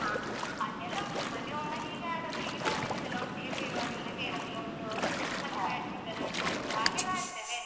ಹ ಅದೆಲ್ ಉಂಟು ಮನೆ ಒಳಗೆ ಹೀಗೆ ಆಡುವಾಗ ಹೀಗೆ cousins ಎಲ್ಲ ಒಟ್ಟಿಗೆ ಸೇರುವಾಗೆಲ್ಲ carrom ludo ಮತ್ತೆ badminton ಆಡ್ಬೋದು ಹಾಗೆ ಆಡ್ತೇವೆ.